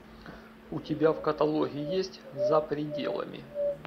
у тебя в каталоге есть за пределами